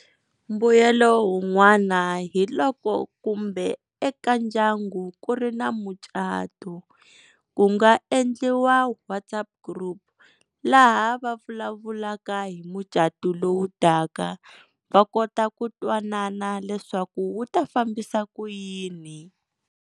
Mbuyelo wun'wana hi loko kumbe eka ndyangu ku ri na mucato ku nga endliwa WhatsApp group laha va vulavulaka hi mucatu lowu taka va kota ku twanana leswaku wu ta fambisa ku yini.